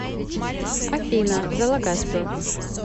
афина залагаспер